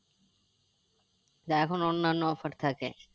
তা এখন অন্য অন্য offer থাকে